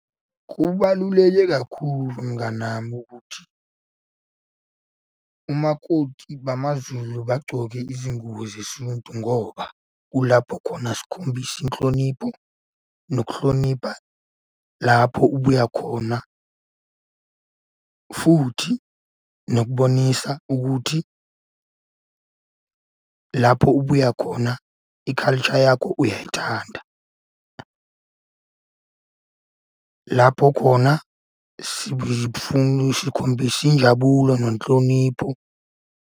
Kubaluleke kakhulu mngani wami ukuthi umakoti bamaZulu bagcoke izingubo zesintu ngoba kulapho khona sikhombisa inhlonipho nokuhlonipha lapho ubuya khona, futhi nokubonisa ukuthi lapho ubuya khona i-culture yakho uyayithanda. Lapho khona sikhombisa injabulo nenhlonipho.